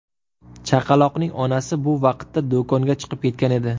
Chaqaloqning onasi bu vaqtda do‘konga chiqib ketgan edi.